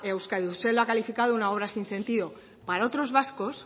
euskadi usted lo ha calificado como una obra sin sentido para otros vascos